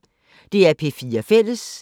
DR P4 Fælles